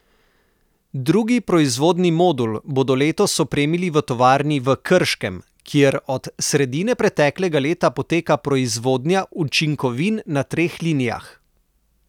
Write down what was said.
Drugi proizvodni modul bodo letos opremili v tovarni v Krškem, kjer od sredine preteklega leta poteka proizvodnja učinkovin na treh linijah.